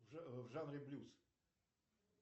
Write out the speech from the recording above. в жанре блюз